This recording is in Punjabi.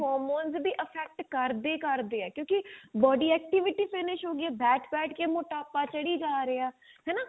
hormones ਵੀ affect ਕਰਦੇ ਹੀ ਕਰਦੇ ਆ ਕਿਉਂਕਿ body activity finish ਹੋ ਗਾਈ ਆ ਬੈਠ ਬੈਠ ਕੇ ਮੋਟਾਪਾ ਚੜੀ ਜਾ ਰਿਹਾ ਹਨਾ